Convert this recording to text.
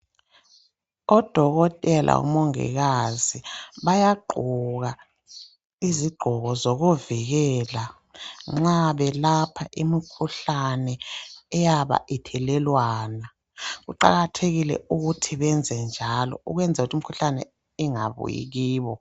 Odokotela lomongikazi bayagqoka izigqoko zokuzivikela nxa belapha imikhuhlane eyabe ithelelwana. Kuqakathekile ukuthi benzenjalo ukwenzela ukuthi imikhuhlane ingabuyi kibo.